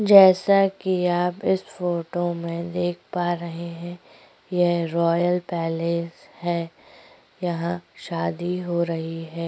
जैसा कि आप इस फोटो में देख पा रहै हैं यह रॉयल पैलेस है यहाँ शादी हो रही है।